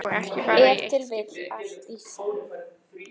Ef til vill allt í senn.